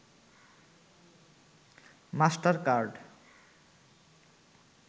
master card